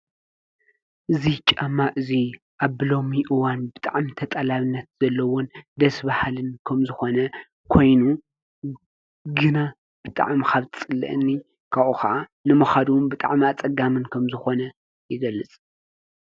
እዙይ ጫማ እዙይ ኣብሎሚእዋን ብጣዕሚ ተጠላብነት ዘለዉን ደስባሃልን ከም ዝኾነ ኮይኑ ግና ብጣዕሚ ኻብጽልአኒ ካ ኸዓ ንመኸዱ ብጣዕሚ ኣፀጋምን ከም ዝኾነ ይገልጽ።